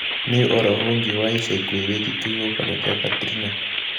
nī ūhoro ūngi wa ica ikuhe wīgie kīhuhūkanio gīa katrina